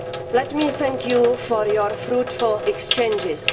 soon. Let me thank you for your fruitful exchanges.